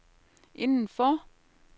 indenfor